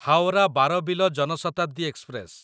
Howrah Barbil Jan Shatabdi express